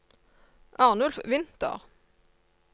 Arnulf Winther